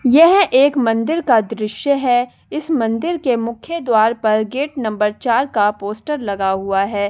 यह एक मंदिर का दृश्य है इस मंदिर के मुख्य द्वार पर गेट नंबर चार का पोस्टर लगा हुआ है ।